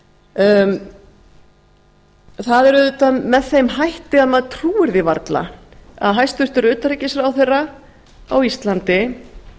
írak það er auðvitað með þeim hætti að maður trúir því varla að hæstvirtur utanríkisráðherra á íslandi